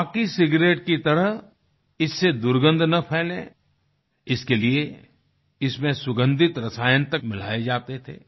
बाकी सिगारेट की तरह इससे दुर्गन्ध न फैले इसके लिए इसमें सुगन्धित रसायन तक मिलाए जाते थे